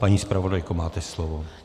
Paní zpravodajko, máte slovo.